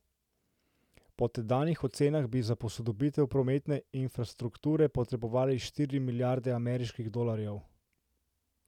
Po tedanjih ocenah bi za posodobitev prometne infrastrukture potrebovala štiri milijarde ameriških dolarjev.